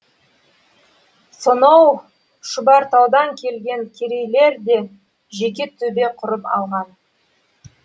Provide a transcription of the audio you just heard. соноу шұбартаудан келген керейлер де жеке төбе құрып алған